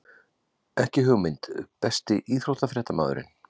Ekki hugmynd Besti íþróttafréttamaðurinn?